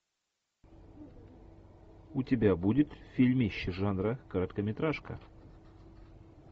у тебя будет фильмище жанра короткометражка